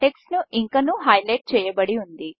text ఇంకనూ highlight చేయబడి ఉంది